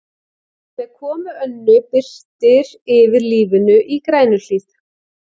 Með komu Önnu birtir yfir lífinu í Grænuhlíð.